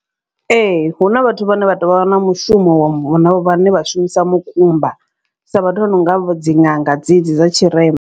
Ee hu na vhathu vhane vha tou vha na mushumo wa vhane vha shumisa mukumba, sa vhathu vha no nga dzi ṅanga dzedzi dza tshirema.